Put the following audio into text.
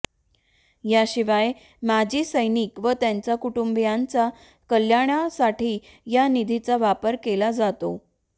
याशिवाय माजी सैनिक व त्यांच्या कुटुंबियांच्या कल्याणासाठी या निधीचा वापर केला जातो